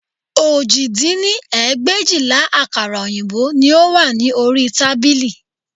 Òjì dín ní ẹgbẹ̀éjìlá àkàrà òyìnbó ni ó wà ní orí tábìlì